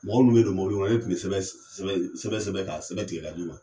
Mɔgɔ minn'o bɛ don mobili kɔnɔ ne tun bɛ sɛbɛn sɛbɛn sɛbɛn ka sɛbɛ tigɛ ka di o ma.